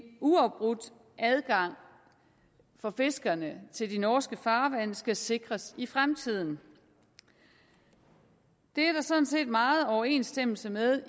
uafbrudt adgang for fiskerne til de norske farvande skal sikres i fremtiden det er sådan set meget i overensstemmelse med